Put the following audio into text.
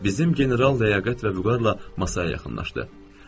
Bizim general ləyaqət və vüqarla masaya yaxınlaşdı.